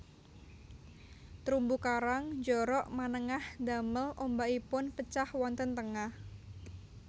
Terumbu karang njorok manengah ndamel ombakipun pecah wonten tengah